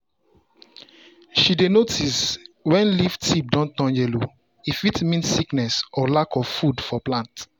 she dey notice when leaf tip dey turn yellow — e fit mean sickness or lack of food for plant.